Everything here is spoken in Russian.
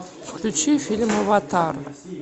включи фильм аватар